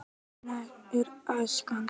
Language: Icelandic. Auðginnt er æskan.